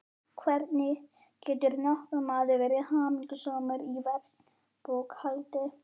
hvernig getur nokkur maður verið hamingjusamur í verkbókhaldi.